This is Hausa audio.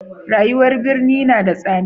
rayuwan birni na da tsada